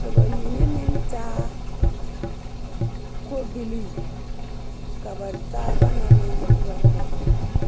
ka ba mine meŋ taa kobilii ka ba taaba na meŋ nyɔgrɔ.